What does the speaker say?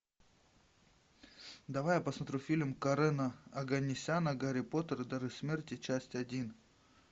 давай я посмотрю фильм карена оганесяна гарри поттер и дары смерти часть один